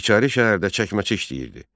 İçəri şəhərdə çəkməçi işləyirdi.